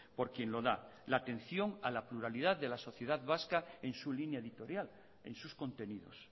por quien lo da la atención a la pluralidad de la sociedad vasca en su línea editorial en sus contenidos